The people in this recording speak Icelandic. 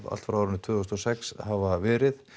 allt frá árinu tvö þúsund og sex hafa verið